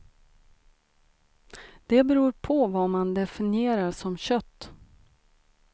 Det beror på vad man definierar som kött.